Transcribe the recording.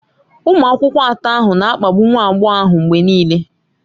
Ụmụ akwụkwọ atọ ahụ na-akpagbu nwa agbọghọ ahụ mgbe niile.